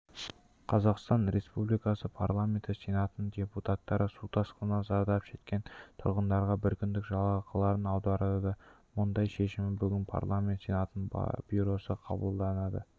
қазақстан республикасы парламенті сенатының депутаттары су тасқынынан зардап шеккен тұрғындарға бір күндік жалақыларын аударады мұндай шешімді бүгін парламент сенатының бюросы қабылдады